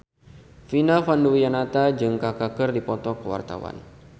Vina Panduwinata jeung Kaka keur dipoto ku wartawan